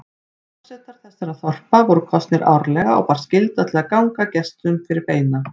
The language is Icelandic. Forsetar þessara þorpa voru kosnir árlega og bar skylda til að ganga gestum fyrir beina.